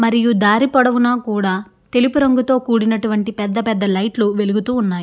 మరియు దారి పొడవున కూడా తెలుపు రంగు కూడినటువంటి పెద్ధ పెద్ధ లైట్ లు వెలుగుతున్నాయి.